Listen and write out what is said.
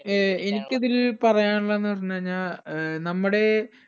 ഏർ എനിക്കിതിൽ പറയാനിള്ളന്ന് പറഞ്ഞഴിഞ്ഞ ഏർ നമ്മുടെ